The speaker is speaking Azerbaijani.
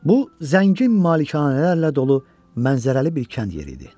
Bu zəngin malikanələrlə dolu mənzərəli bir kənd yeri idi.